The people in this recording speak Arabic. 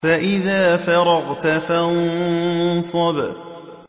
فَإِذَا فَرَغْتَ فَانصَبْ